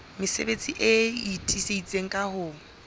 mesebetsi e itseng ka ho